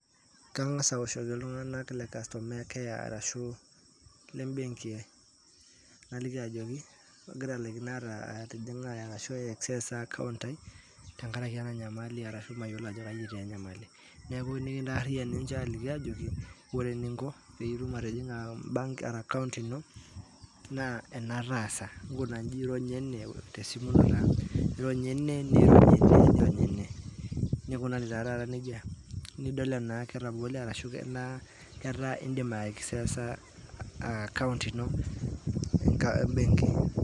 Kang'as aoshoki iltung'anak le customer care arashu lebenki ajoki atalaikine ai access accountcs] ai tenkaraki ena nyamali ashu mayilo entii enyamall, neeku nikitaarriyian ninche aliki aajokiore eninnko pee itum atijing'a ebank ara account ino naa ena taasa nkuna inji ronya ene niirony ene niirony ene, nikunari tataata neija ning'uraa enaa ketabole enaa ketaa iindim qi access]